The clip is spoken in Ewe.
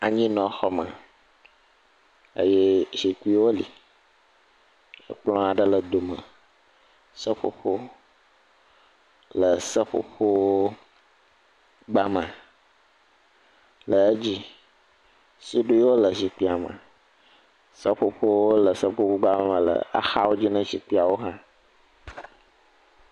Anyinɔxɔme. Eye zikpiwo li. Ekplɔ̃ aɖe le dome. Seƒoƒo le seƒoƒo gbame le edzi. Suɖiwo le zikpia me. Seƒoƒowo le seƒoƒogbame le axawo dzi na zikpiawo hã.